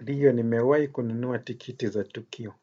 Ndiyo nimewahi kununua tikiti za tukio.